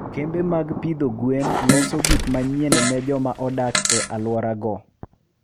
kembe mag pidho gwen loso gik manyien ne joma odak e alworago.